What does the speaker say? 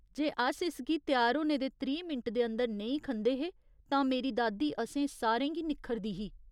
जे अस इसगी त्यार होने दे त्रीह् मिंट दे अंदर नेईं खंदे हे तां मेरी दादी असें सारें गी निक्खरदी ही।